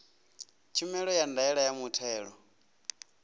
khumbelo ya ndaela ya muthelo